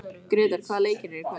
Gretar, hvaða leikir eru í kvöld?